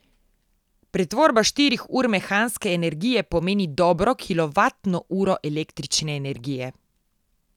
Pretvorba štirih ur mehanske energije pomeni dobro kilovatno uro električne energije.